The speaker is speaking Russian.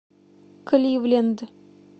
кливленд